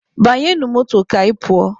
Banyenụ moto ka anyị pụọ!